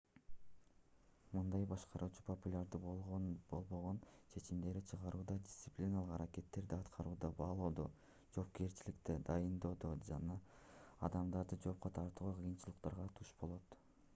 мындай башкаруучу популярдуу болбогон чечимдерди чыгарууда дисциплиналык аракеттерди аткарууда баалоодо жоопкерчиликтерди дайындоодо жана адамдарды жоопко тартууда кыйынчылыктарга туш болот